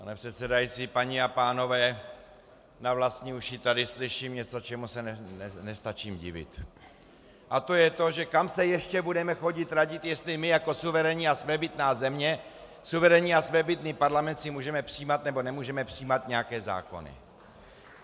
Pane předsedající, paní a pánové, na vlastní uši tady slyším něco, čemu se nestačím divit, a to je to, že kam se ještě budeme chodit radit, jestli my jako suverénní a svébytná země, suverénní a svébytný parlament si můžeme přijímat, nebo nemůžeme přijímat nějaké zákony.